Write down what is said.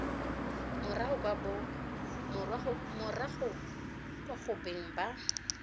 morago kwa go beng ba